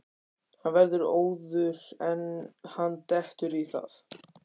Hann verður óður ef hann dettur í það!